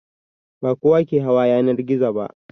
Ba kowa ke hawa yanar gizo ba.